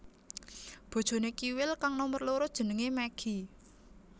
Bojoné Kiwil kang nomer loro jenengé Meggi